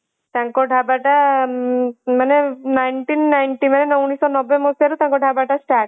ତାଙ୍କ ଢାବାଟା ମାନେ nineteen ninety ମାନେ ଉଣେଇଶହ ନବେ ମସିହାରୁ ତାଙ୍କ ଢାବାଟା start ହେଲା